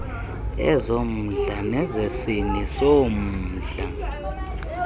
ezommndla nezesini zommndla